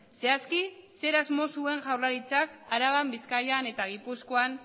zehazki zer asmo zuen jaurlaritzak araban bizkaian eta gipuzkoan